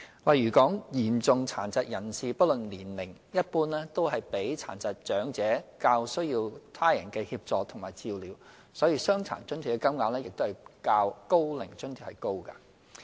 例如嚴重殘疾人士不論年齡，一般都比沒有殘障的長者較需要他人協助和照料，所以"傷殘津貼"的金額較"高齡津貼"為高。